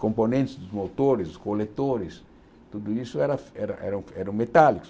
componentes dos motores, coletores, tudo isso era era era eram metálicos.